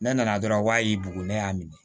Ne nana dɔrɔn n k'a y'i bugu ne y'a minɛ